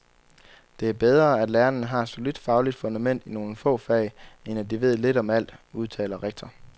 Det er bedre, at lærerne har et solidt fagligt fundament i nogle få fag, end at de ved lidt om alt, udtaler rektor.